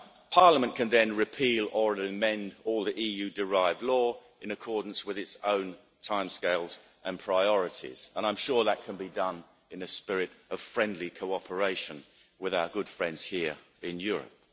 Parliament can then repeal or amend all the EU derived law in accordance with its own timescales and priorities, and I'm sure that can be done in a spirit of friendly cooperation with our good friends here in Europe.